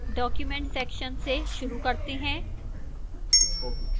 document section से शुरू करते हैं